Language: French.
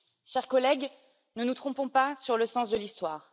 Chers collègues, ne nous trompons pas sur le sens de l'Histoire.